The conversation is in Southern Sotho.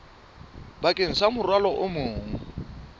bakeng sa morwalo o mong